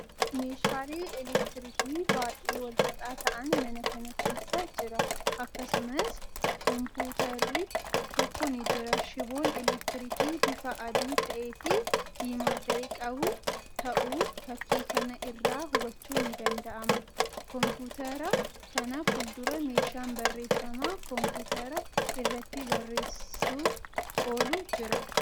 Meeshaalee elektiriikii baay'ee walxaxaa ta'an mana kana keessa jira. Akkasumas koomputarri tokko ni jira. Shiboon elektiriikii bifa adii ta'ee fii diimaa ta'e qabu ta'uu fakkii kana irraa hubachuun ni danda'ama. Koomputara kana fuuldura meeshan barreeffama koomputara irratti barreessuf oolu jira.